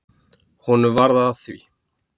Honum varð að því.